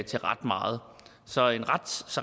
til ret meget så